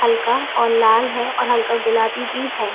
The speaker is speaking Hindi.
हल्का और लाल है और हल्का गुलाबी है।